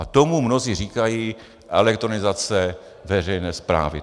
A tomu mnozí říkají elektronizace veřejné správy.